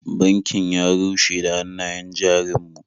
Bankin ya rushe da hannayen jarin mu.